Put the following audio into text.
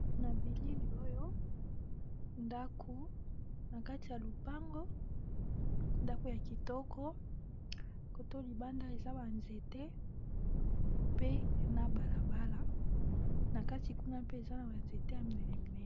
Na bilili oyo ndaku na kati ya lupango ndaku ya kitoko côté oyo libanda eza ba nzete pe na balabala na kati kuna mpe eza na ba nzete ya minene minene